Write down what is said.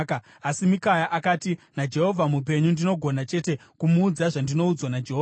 Asi Mikaya akati, “NaJehovha mupenyu, ndinogona chete kumuudza zvandinoudzwa naJehovha.”